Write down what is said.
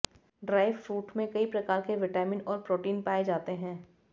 dry fruit में कई प्रकार के विटामिन और प्रोटीन पाए जाते हैं